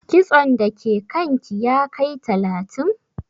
Kitson da ke kan ki ya kai talatin?